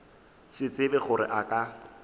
se tsebe gore a ka